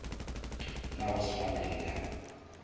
la go swana le la